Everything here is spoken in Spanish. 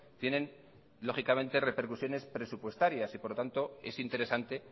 tienen lógicamente repercusiones presupuestarias y por lo tanto es interesante